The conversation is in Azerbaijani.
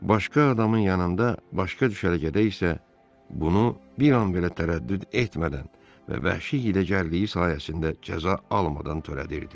Başqa adamın yanında, başqa düşərgədə isə bunu bir an belə tərəddüd etmədən və vəhşi hiləgərliyi sayəsində cəza almadan törədirdi.